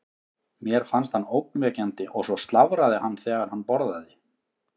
Mér fannst hann ógnvekjandi og svo slafraði hann þegar hann borðaði.